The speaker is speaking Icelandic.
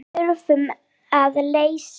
En þurfum að leysa.